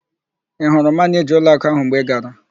Ị hụrụ Manịjaa ụlọakụ ahụ mgbe ị gara?